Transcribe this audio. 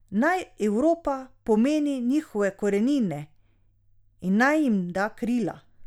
Naj Evropa pomeni njihove korenine in naj jim da krila.